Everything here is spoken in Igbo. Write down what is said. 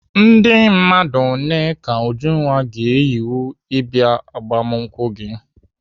Ndị mmadụ ole ka Ujunwa ga-eyiwe ịbịa agbamakwụkwọ gị?